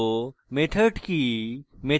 method কি